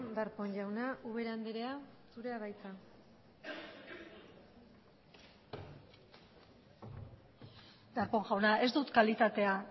darpón jauna ubera andrea zurea da hitza darpón jauna ez dut kalitatea